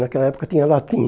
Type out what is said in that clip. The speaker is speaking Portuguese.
Naquela época tinha latim.